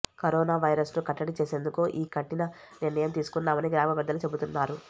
corona వైరస్ను కట్టడి చేసేందుకే ఈ కఠిన నిర్ణయం తీసుకున్నామని గ్రామా పెద్దలు చెబుతున్నారు